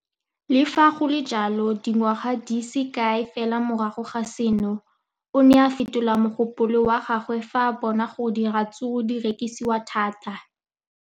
Le fa go le jalo, dingwaga di se kae fela morago ga seno, o ne a fetola mogopolo wa gagwe fa a bona gore diratsuru di rekisiwa thata.